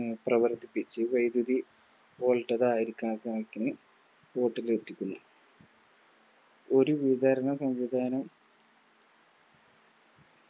പ്രവർത്തിപ്പിച്ചു വൈദ്യതി കണക്കിന് എത്തിക്കുന്നു ഒരുയർന്ന സംവിധാന